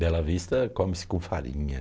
Bela Vista come-se com farinha.